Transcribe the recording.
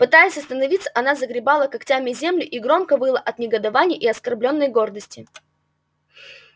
пытаясь остановиться она загребала когтями землю и громко выла от негодования и оскорблённой гордости